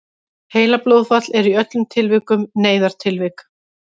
heilablóðfall er í öllum tilvikum neyðartilvik